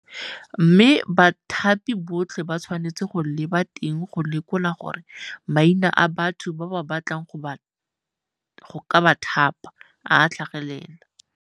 Mme bathapi botlhe ba tshwanetse go leba teng go lekola gore maina a batho ba ba batlang go ka ba thapa a tlhagelela.